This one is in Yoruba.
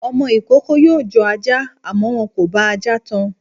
Ọmọ ìkookò yóò jọ ajá, àmọ́ wọn kò bá ajá tan.